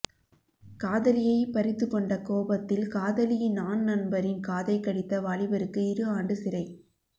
காதலியை பறித்துக் கொண்ட கோபத்தில் காதலியின் ஆண் நண்பரின் காதைக் கடித்த வாலிபருக்கு இரு ஆண்டு சிறை